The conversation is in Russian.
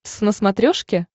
твз на смотрешке